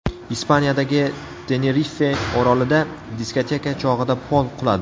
Ispaniyadagi Tenerife orolida diskoteka chog‘ida pol quladi.